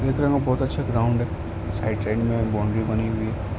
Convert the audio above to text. बहोत अच्छा ग्राउंड है। साइड -साइड में बाउंड्री बनी हुई है।